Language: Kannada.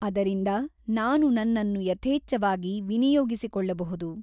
ಅದರಿಂದ ನಾನು ನನ್ನನ್ನು ಯಥೇಚ್ಛವಾಗಿ ವಿನಿಯೋಗಿಸಿಕೊಳ್ಳಬಹುದು.